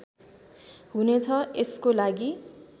हुनेछ यसको लागी